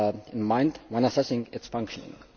in mind when assessing its functioning.